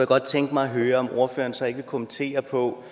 godt tænke mig at høre om ordføreren så ikke vil kommentere på